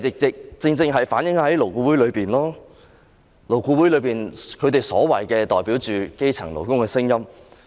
這正正反映了勞顧會內的情況，勞顧會內他們所謂的代表基層勞工的聲音。